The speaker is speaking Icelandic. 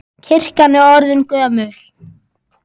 Kirkjan er orðin mjög gömul.